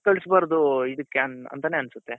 ಇವೃನ್ನೆಲ್ಲ ಯಾಕ್ ಕಳ್ಸ್ಬಾರ್ದು ಇದಿಕ್ಕೆ ಅಂತಾನೆ ಅನ್ಸುತ್ತೆ